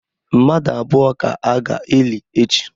Mmadụ abụọ ka a ga-eli echi.